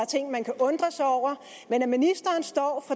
ting man kan undre sig over men at ministeren står